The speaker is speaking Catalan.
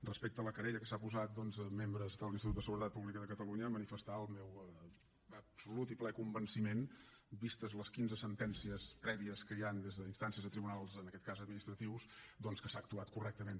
respecte a la querella que han posat membres de l’institut de seguretat pública de catalunya manifestar el meu absolut i ple convenciment vistes les quinze sentències prèvies que hi han des d’instàncies a tribunals en aquest cas administratius doncs que s’ha actuat correctament